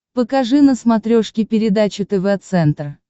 покажи на смотрешке передачу тв центр